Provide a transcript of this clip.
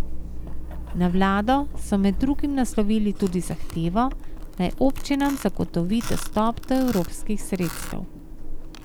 Na vlado so med drugim naslovili tudi zahtevo, naj občinam zagotovi dostop do evropskih sredstev.